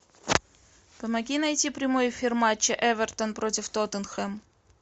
помоги найти прямой эфир матча эвертон против тоттенхэм